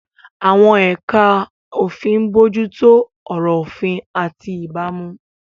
Àwọn ẹ̀ka òfin ń bójú tó ọ̀rọ̀ òfin àti ìbámu.